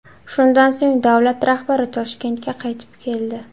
Shundan so‘ng davlat rahbari Toshkentga qaytib keldi.